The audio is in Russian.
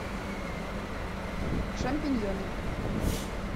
шампиньоны